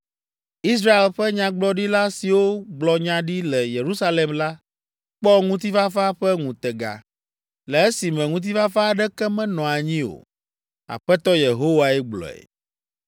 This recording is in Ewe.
Israel ƒe nyagblɔɖila siwo gblɔ nya ɖi le Yerusalem la, kpɔ ŋutifafa ƒe ŋutega, le esime ŋutifafa aɖeke menɔ anyi o. Aƒetɔ Yehowae gblɔe.” ’